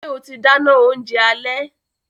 Ṣe o ti dáná oúnjẹ alẹ́?